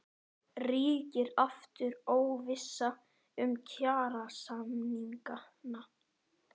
Ríkir aftur óvissa um kjarasamningana?